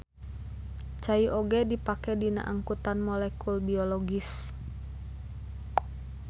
Cai oge dipake dina angkutan molekul biologis.